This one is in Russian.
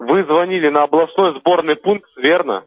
вы звонили на областной сборный пункт верно